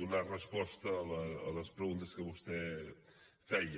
donar resposta a les preguntes que vostè feia